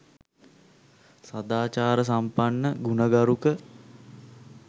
සදාචාරසම්පන්න, ගුණගරුක